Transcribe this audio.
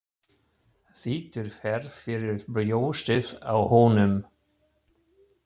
Þytur fer fyrir brjóstið á honum.